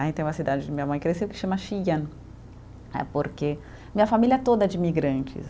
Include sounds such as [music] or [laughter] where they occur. Aí tem uma cidade onde minha mãe cresceu que se chama [unintelligible] porque minha família toda é de imigrantes.